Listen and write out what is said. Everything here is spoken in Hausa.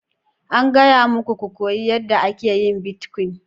An gaya muku ku koyi yadda ake yin bitcoin!